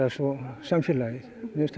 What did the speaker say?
svo samfélagið